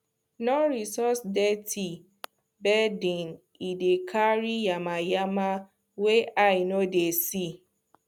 no resuse dirty bedding e dey carry yamayama wey eye no dey see